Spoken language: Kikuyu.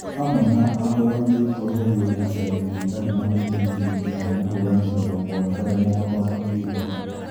hamwe na ahũranĩri kweherio ngucanio-inĩ itarĩ na mũthingi nginya mũhũranĩri ũmwe kũremwo gũthoma kiugo